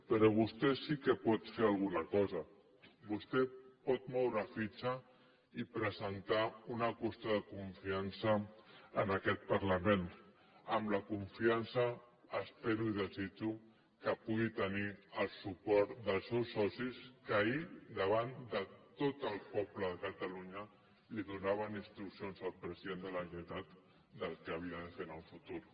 però vostè sí que pot fer alguna cosa vostè pot moure fitxa i presentar una qüestió de confiança en aquest parlament amb la confiança ho espero i ho desitjo que pugui tenir el suport dels seus socis que ahir davant de tot el poble de catalunya donaven instruccions al president de la generalitat del que havia de fer en el futur